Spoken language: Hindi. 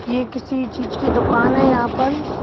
ये किसी चीज़ की दुकान है यहाँ पर--